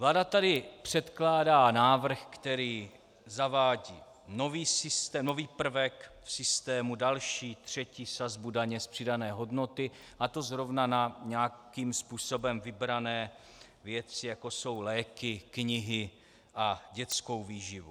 Vláda tady předkládá návrh, který zavádí nový prvek v systému, další, třetí sazbu daně z přidané hodnoty, a to zrovna na nějakým způsobem vybrané věci, jako jsou léky, knihy a dětská výživa.